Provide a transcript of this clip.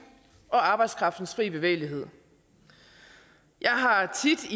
og arbejdskraftens fri bevægelighed jeg har tit